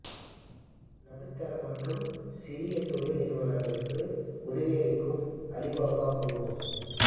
நடுத்தர மற்றும் சிறிய தொழில் நிறுவனங்களுக்கு உதவி அளிக்கும் அலிபாபா குழுமம்